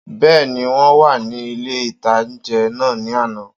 Bẹ́ẹ̀ni, wọ́n wà ní ilé-ìtánjẹ náà ní àná